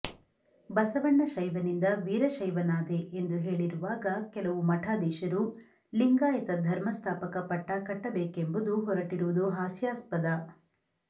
ಬಸವಣ್ಣ ಶೈವನಿಂದ ವೀರಶೈವನಾದೆ ಎಂದು ಹೇಳಿರುವಾಗ ಕೆಲವು ಮಠಾಧೀಶರು ಲಿಂಗಾಯತ ಧರ್ಮ ಸ್ಥಾಪಕ ಪಟ್ಟ ಕಟ್ಟಬೇಕೆಂಬುದು ಹೊರಟಿರುವುದು ಹಾಸ್ಯಾಸ್ಪದ